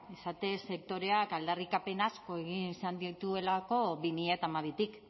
izatez sektoreak aldarrikapen asko egin izan dituelako bi mila hamabitik